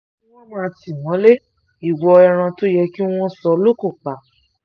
ìwọ ni wọ́n máa tì mọ́lẹ̀ ìwo ẹran tó yẹ kí wọ́n sọ lókun pa